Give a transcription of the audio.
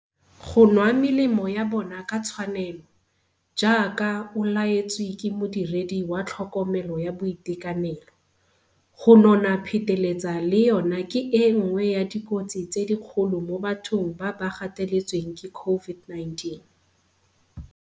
Go nwa melemo ya bona ka tshwanelo, jaaka o laetswe ke modiredi wa tlhokomelo ya boitekanelo. Go nona pheteletsa le yona ke e nngwe ya dikotsi tse dikgolo mo bathong ba ba gateletsweng ke COVID-19.